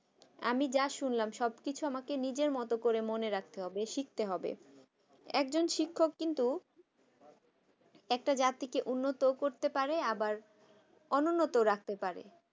আমি যা শুনলাম সবকিছু আমাকে নিজের মতন করে মনে রাখতে হবে শিখতে হবে একজন শিক্ষক কিন্তু একটা জাতিকে উন্নত করতে পারে আবার অনুন্নত রাখতে পারে